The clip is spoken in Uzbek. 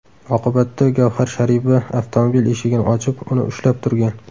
Oqibatda Gavhar Sharipova avtomobil eshigini ochib, uni ushlab turgan.